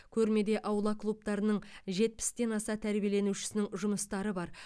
көрмеде аула клубтарының жетпістен аса тәрбиеленушісінің жұмыстары бар